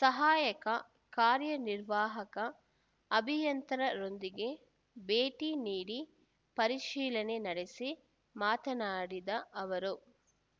ಸಹಾಯಕ ಕಾರ್ಯನಿರ್ವಾಹಕ ಅಭಿಯಂತರರೊಂದಿಗೆ ಭೇಟಿ ನೀಡಿ ಪರಿಶೀಲನೆ ನಡೆಸಿ ಮಾತನಾಡಿದ ಅವರು